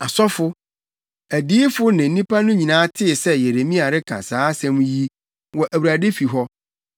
Asɔfo, adiyifo ne nnipa no nyinaa tee sɛ Yeremia reka saa nsɛm yi, wɔ Awurade fi hɔ.